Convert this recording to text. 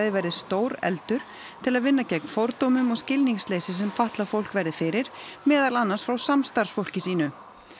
verði stórefldur til að vinna gegn fordómum og skilningsleysi sem fatlað fólk verði fyrir meðal annars frá samstarfsfólki sínu